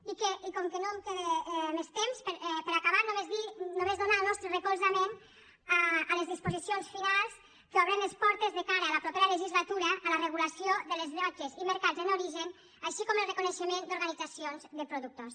i com que no em queda més temps per acabar només donar el nostre recolzament a les disposicions finals que obren les portes de cara a la propera legislatura a la regulació de les llotges i mercats en origen com també el reconeixement d’organitzacions de productors